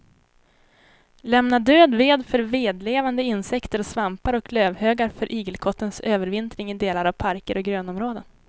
Lämna död ved för vedlevande insekter och svampar och lövhögar för igelkottens övervintring i delar av parker och grönområden.